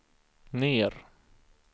ner